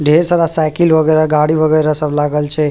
ढेर सारा साइकिल वगेरा गाड़ी वगैरा सब लागल छै।